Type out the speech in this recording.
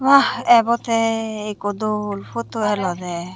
buah ebotte ikko dol putu elode.